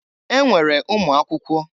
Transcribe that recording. E nwere ụmụakwụkwọ.